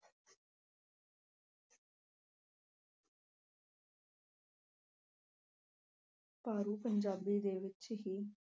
ਪੰਜਾਬੀ ਦੇ ਵਿੱਚ ਹੀ